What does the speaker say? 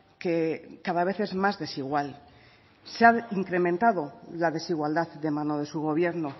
que cada vez es más desigual se ha incrementado la desigualdad de mano de su gobierno